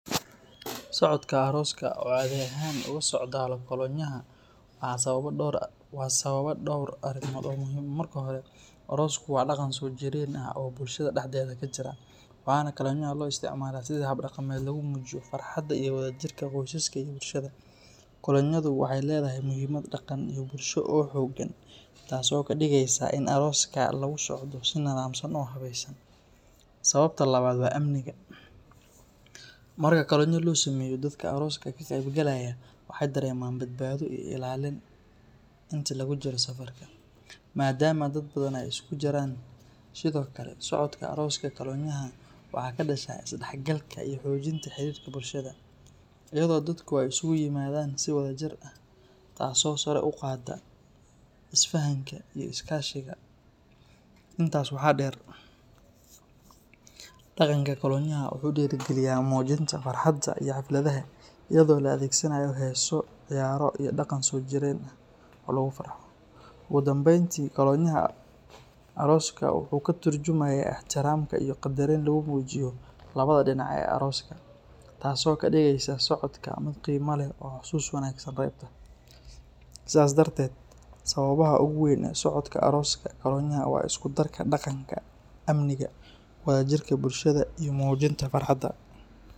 Socodka arooska oo cadi ahaan uga socda kolonyaha waxa sababa dhowr arrimood oo muhiim ah. Marka hore, aroosku waa dhaqan soo jireen ah oo bulshada dhexdeeda ka jira, waxaana kolonyaha loo isticmaalaa sidii hab dhaqameed lagu muujiyo farxadda iyo wadajirka qoysaska iyo bulshada. Kolonyadu waxay leedahay muhiimad dhaqan iyo bulsho oo xooggan, taasoo ka dhigaysa in arooska lagu socdo si nidaamsan oo habaysan. Sababta labaad waa amniga; marka kolonyo la sameeyo, dadka arooska ka qaybgalaya waxay dareemaan badbaado iyo ilaalin intii lagu jiro safarka, maadaama dad badan ay isku jiraan. Sidoo kale, socodka arooska kolonyaha waxa ka dhasha isdhexgalka iyo xoojinta xiriirka bulshada, iyadoo dadku ay isugu yimaadaan si wadajir ah, taasoo sare u qaadda isfahanka iyo iskaashiga. Intaas waxaa dheer, dhaqanka kolonyaha wuxuu dhiirrigeliyaa muujinta farxadda iyo xafladaha, iyadoo la adeegsanayo heeso, ciyaaro, iyo dhaqan soo jireen ah oo lagu farxo. Ugu dambeyntii, kolonyaha arooska wuxuu ka turjumayaa ixtiraamka iyo qadarin lagu muujiyo labada dhinac ee arooska, taasoo ka dhigaysa socodka mid qiimo leh oo xusuus wanaagsan reebta. Sidaas darteed, sababaha ugu weyn ee socodka arooska kolonyaha waa isku darka dhaqanka, amniga, wadajirka bulshada, iyo muujinta farxadda.